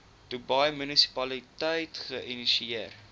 dubai munisipaliteit geïnisieer